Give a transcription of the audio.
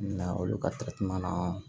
Na olu ka